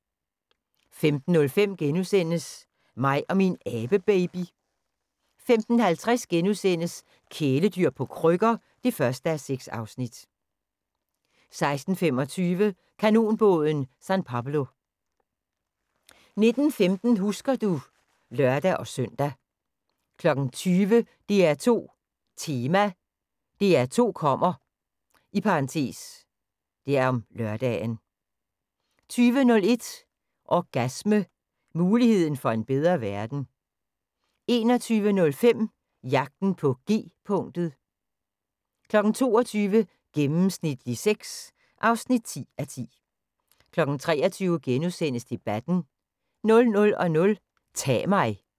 15:05: Mig og min abebaby * 15:50: Kæledyr på krykker (1:6)* 16:25: Kanonbåden San Pablo 19:15: Husker du ... (lør-søn) 20:00: DR2 Tema: DR2 kommer (lør) 20:01: Orgasme – muligheden for en bedre verden 21:05: Jagten på G-punktet 22:00: Gennemsnitlig sex (10:10) 23:00: Debatten * 00:00: Ta' mig